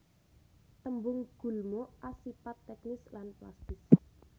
Tembung gulma asipat teknis lan plastis